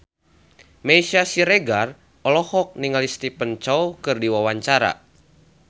Meisya Siregar olohok ningali Stephen Chow keur diwawancara